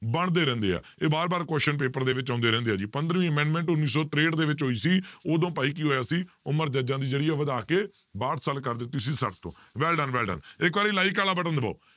ਬਣਦੇ ਰਹਿੰਦੇ ਆ ਇਹ ਵਾਰ ਵਾਰ question paper ਦੇ ਵਿੱਚ ਆਉਂਦੇ ਰਹਿੰਦੇ ਆ ਜੀ ਪੰਦਰਵੀਂ amendment ਉੱਨੀ ਸੌ ਤਰੇਹਠ ਦੇ ਵਿੱਚ ਹੋਈ ਸੀ, ਉਦੋਂ ਭਾਈ ਕੀ ਹੋਇਆ ਸੀ ਉਮਰ ਜੱਜਾਂ ਦੀ ਜਿਹੜੀ ਆ ਵਧਾ ਕੇ ਬਾਹਠ ਸਾਲ ਕਰ ਦਿੱਤੀ ਸੀ ਛੱਠ ਤੋਂ well done, well done ਇੱਕ ਵਾਰੀ like ਵਾਲਾ button ਦਬਾਓ